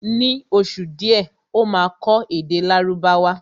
Ní oṣù díẹ̀ Ó máa kọ́ èdè Lárúbáwá